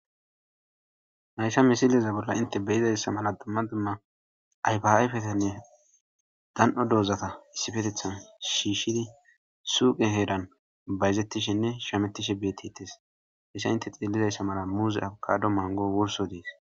Haysa misileza bolla inte beyizayssa mala dumma dumma ayfayfetenne dan7o doozata issifetethan shiishshidi suuqe heeran bayzettishenne shametishe beettites hessa inte xillizayssa mala muuzi awukado mango wurso dees